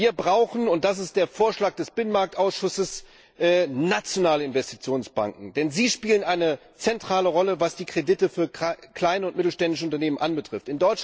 Wir brauchen und das ist der Vorschlag des Binnenmarktausschusses nationale Investitionsbanken, denn sie spielen eine zentrale Rolle, was die Kredite für kleine und mittelständische Unternehmen anbetrifft.